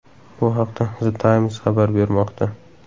Bu haqda The Times xabar bermoqda .